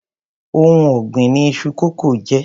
Oun ògbìn ni iṣu kókò jé.